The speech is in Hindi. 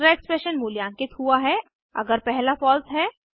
दूसरा एक्सप्रेशन मूल्यांकित हुआ है अगर पहला फॉल्स है